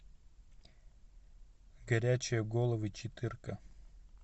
горячие головы четырка